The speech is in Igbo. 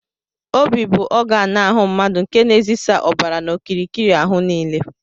Óbị bụ ọganu ahụ mmadụ nke na ezisa ọbara n'okirikiri áhù niile.